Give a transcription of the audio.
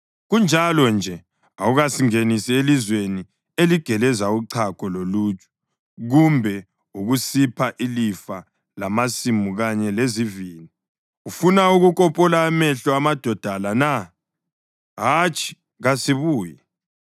Kunjalo-nje, awukasingenisi elizweni eligeleza uchago loluju kumbe ukusipha ilifa lamasimu kanye lezivini. Ufuna ukukopola amehlo amadoda la na? Hatshi, kasibuyi!”